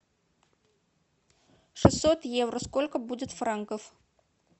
шестьсот евро сколько будет франков